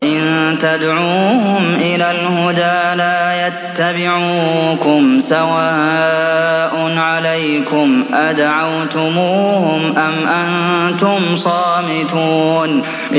وَإِن تَدْعُوهُمْ إِلَى الْهُدَىٰ لَا يَتَّبِعُوكُمْ ۚ سَوَاءٌ عَلَيْكُمْ أَدَعَوْتُمُوهُمْ أَمْ أَنتُمْ صَامِتُونَ